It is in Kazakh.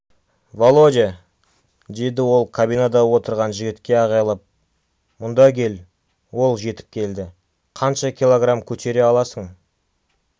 володя деді ол кабинада отырған жігітке айғайлап мұнда кел ол жетіп келді қанша килограмм көтере аласың